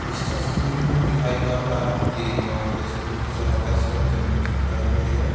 इस तस्वीर में दिखाई पड़ रहा है कि जेसीबी की सहायता से जमीन की खुदाई हो रही है।